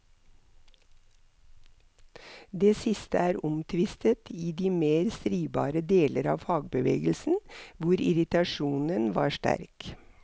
Det siste er omtvistet i de mer stridbare deler av fagbevegelsen, hvor irritasjonen var sterk.